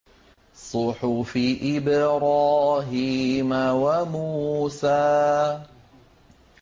صُحُفِ إِبْرَاهِيمَ وَمُوسَىٰ